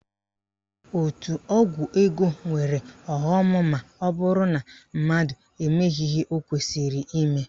Òtù ọgwụ ego nwere ọghọm maọbụrụ na mmadụ emeghị ihe o kwesịrị ime